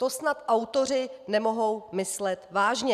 To snad autoři nemohou myslet vážně!